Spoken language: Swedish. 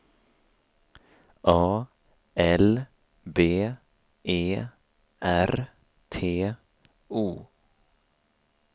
A L B E R T O